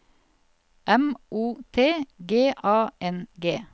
M O T G A N G